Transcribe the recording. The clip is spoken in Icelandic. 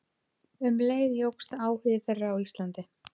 Um leið jókst áhugi þeirra á Íslandi.